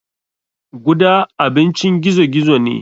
Guda abincin gizo gizo ne.